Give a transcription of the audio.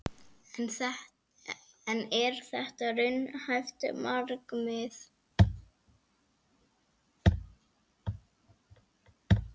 En er þetta raunhæft markmið?